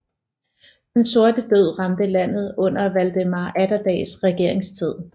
Den sorte død ramte landet under Valdemar Atterdags regeringstid